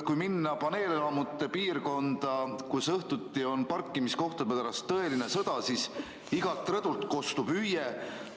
Kui minna paneelelamute piirkonda, kus õhtuti on parkimiskohtade pärast tõeline sõda, siis kostab igalt rõdult hüüe